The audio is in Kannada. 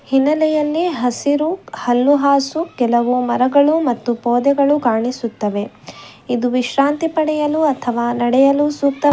ಹಿನ್ನಲೆಯಲ್ಲಿ ಹಸಿರು ಹಲ್ಲುಹಾಸು ಕೆಲವು ಮರಗಳು ಮತ್ತು ಪೊದೆಗಳು ಕಾಣಿಸುತ್ತವೆ ಇದು ವಿಶ್ರಾಂತಿ ಪಡೆಯಲು ಅಥವಾ ನಡೆಯಲು ಸೂಕ್ತ --